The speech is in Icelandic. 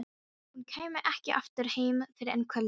Hún kæmi ekki aftur heim fyrr en kvöldaði.